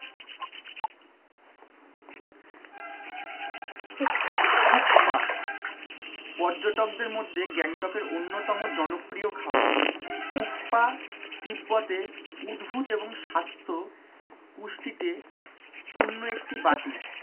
থুপ্পা পর্যটকদের মধ্যে গ্যাংটক কের উন্নতম জনপ্রিয় খাবার থুপ্পা তিব্বতে উদ্ভূত এবং স্বাস্থ্য পুষ্টিতে পূর্ণ একটি বাটি